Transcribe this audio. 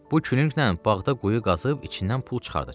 Bu külünglə bağda quyu qazıb içindən pul çıxardacam.